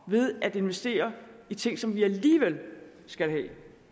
ved at investere i ting som vi alligevel skal have